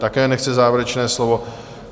Také nechce závěrečné slovo.